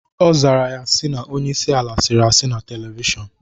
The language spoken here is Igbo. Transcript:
Ọ zara ya si na onyeisi ala sịrị asị na televishọnu